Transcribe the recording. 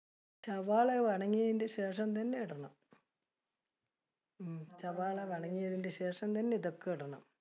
സവാള ശേഷം തന്നെ ഇടണം. ഉം സവാള ശേഷം തന്നെ ഇതൊക്കെ ഇടണം.